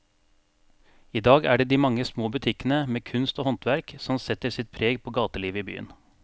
I dag er det de mange små butikkene med kunst og håndverk som setter sitt preg på gatelivet i byen.